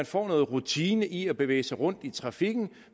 får noget rutine i at bevæge sig rundt i trafikken